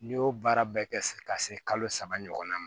N'i y'o baara bɛɛ kɛ ka se kalo saba ɲɔgɔn ma